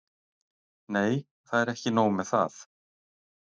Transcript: Nei, það er ekki nóg með það.